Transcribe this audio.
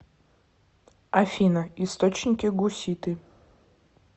афина источники гуситы